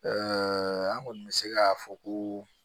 an kɔni bɛ se k'a fɔ ko